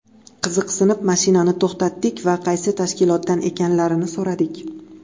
Qiziqsinib, mashinani to‘xtatdik va qaysi tashkilotdan ekanliklarini so‘radik.